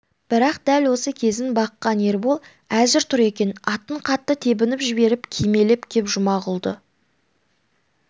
бірақ дәл осы кезін баққан ербол әзір тұр екен атын қатты тебініп жіберіп кимелеп кеп жұмағұлды